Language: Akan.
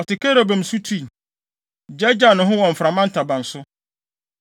Ɔte kerubim so tui; gyaagyaa ne ho wɔ mframa ntaban so.